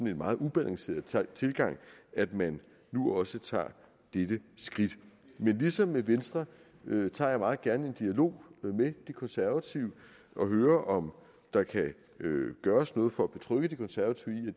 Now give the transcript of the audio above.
en meget ubalanceret tilgang at man nu også tager dette skridt men ligesom med venstre tager jeg meget gerne en dialog med de konservative og hører om der kan gøres noget for at betrygge de konservative i